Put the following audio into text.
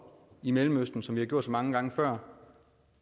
i mellemøsten som man har gjort så mange gange før